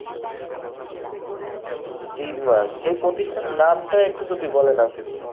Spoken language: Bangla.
তিন মাস, সেই প্রতিষ্ঠানের নাম টা একটু যদি বলেন আসিফ ভাই